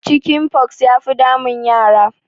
Chicken pox ya fi damun yara